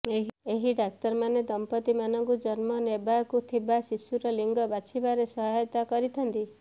ଏହି ଡାକ୍ତର ମାନେ ଦମ୍ପତି ମାନଙ୍କୁ ଜନ୍ମ ନେବାକୁ ଥିବା ଶିଶୁର ଲିଙ୍ଗ ବାଛିବାରେ ସହାୟତା କରିଥାନ୍ତି